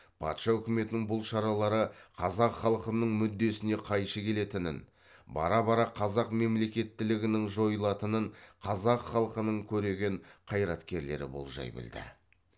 патша үкіметінің бұл шаралары қазақ халқының мүддесіне қайшы келетінін бара бара қазақ мемлекеттілігінің жойылатынын қазақ халқының көреген қайраткерлері болжай білді